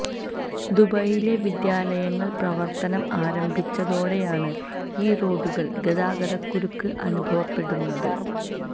ദുബൈയിലെ വിദ്യാലയങ്ങള് പ്രവര്ത്തനം ആരംഭിച്ചതോടെയാണ് ഈ റോഡുകള് ഗതാഗക്കുരുക്ക് അനുഭവപ്പെടുന്നത്